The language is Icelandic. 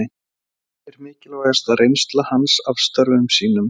Hver er mikilvægasta reynsla hans af störfum sínum?